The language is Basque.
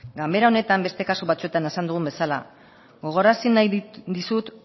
ganbara honetan beste kasu batzuetan esan dugun bezala gogorarazi nahi dizut